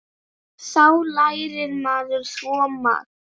Þá lærir maður svo margt.